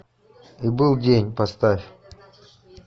и был день поставь